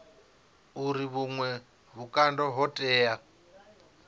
uri vhuṅwe vhukando ho tea